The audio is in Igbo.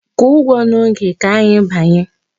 Kwụọ ụgwọ n'oge, ka anyị banye!